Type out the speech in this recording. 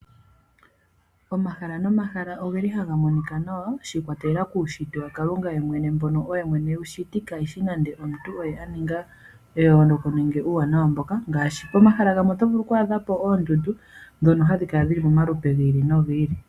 Omahala nomahala ohaga monika nawa shi ikwatelela kuunshitwe wakalunga mbono oye mwene ewu shiti kayishi nande omuntu aninga eyooloka nenge uuwanawa mboka ngaashi pomahala gamwe oto vulu oku adha po oondundu dhino hadhikala dhili momalupe gi ili nogi ili.